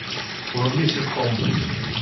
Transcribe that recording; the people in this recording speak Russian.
вруби ситком